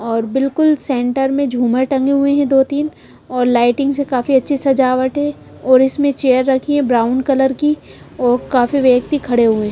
बिलकुल सेंटर में झूमर टंगे हुए हैं दो-तीन और लाइटिंग से काफी अच्छी सजावट हैऔर इसमें चेयर रखी है ब्राउन कलर की और काफी व्यक्ति खड़े हुए हैं।